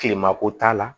Kilema ko t'a la